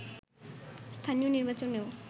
স্থানীয় নির্বাচনেও